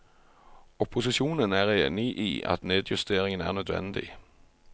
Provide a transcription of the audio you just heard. Opposisjonen er enig i at nedjusteringen er nødvendig.